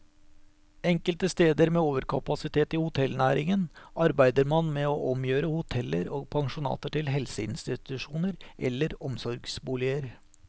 Enkelte steder med overkapasitet i hotellnæringen arbeider man med å omgjøre hoteller og pensjonater til helseinstitusjoner eller omsorgsboliger.